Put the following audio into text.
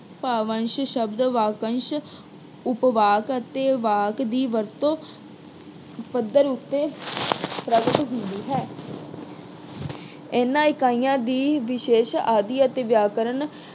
ਭਾਵ ਅੰਸ਼ ਸ਼ਬਦ, ਵਾਕ ਅੰਸ਼, ਉਪਵਾਕ ਅਤੇ ਵਾਕ ਦੀ ਵਰਤੋਂ ਪੱਧਰ ਉੱਤੇ ਪ੍ਰਗਟ ਹੁੰਦੀ ਹੈ। ਇਨ੍ਹਾਂ ਇਕਾਈਆਂ ਦੀ ਵਿਸ਼ੇਸ਼ ਆਦਿ ਅਤੇ ਵਿਆਕਰਨ